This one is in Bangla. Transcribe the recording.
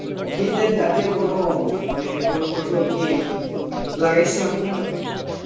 শীতের জাতীয় কোন মানে কোনো ফসল কি লাগাইসে আপনারা?